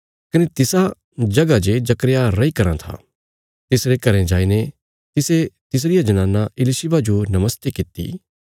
कने तिसा जगह जे जकर्याह रैयी कराँ था तिसरे घरें जाईने तिसे तिसरिया जनाना इलिशिबा जो नमस्ते किति